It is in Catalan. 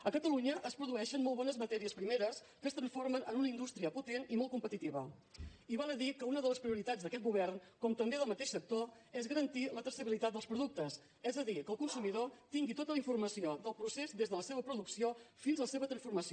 a catalunya es produeixen molt bones matèries primeres que es transformen en una indústria potent i molt competitiva i val a dir que una de les prioritats d’aquest govern com també del mateix sector és garantir la traçabilitat dels productes és a dir que el consumidor tingui tota la informació del procés des de la seva producció fins a la seva transformació